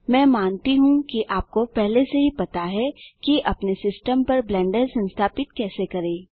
मैं मानता हूँ कि आपको पहले से ही पता है कि अपने सिस्टम पर ब्लेंडर संस्थापित कैसे करें